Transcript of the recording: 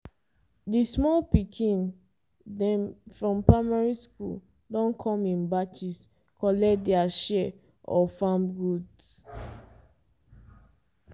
di small pikin dem from primary school don come in batches collect dia share of farm goods.